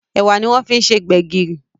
Ẹ̀wà ní a fí se gbegiri